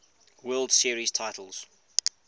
world series titles